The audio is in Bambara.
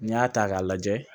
N'i y'a ta k'a lajɛ